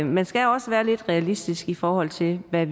man skal også være lidt realistisk i forhold til hvad